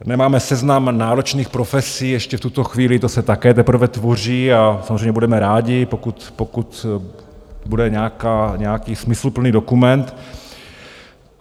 Nemáme seznam náročných profesí ještě v tuto chvíli, to se také teprve tvoří, a samozřejmě budeme rádi, pokud bude nějaký smysluplný dokument.